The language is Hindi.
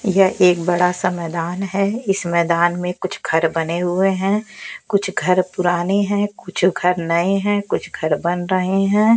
यह एक बड़ा सा मैदान है इस मैदान में कुछ घर बने हुए हैं कुछ घर पुराने हैं कुछ घर नए हैं कुछ घर बन रहे हैं।